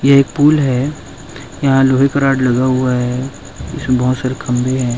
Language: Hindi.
ये एक पूल है यहाँ लोहे का रोड लगा हुआ है इसमें बोहोत सारे खम्भे है।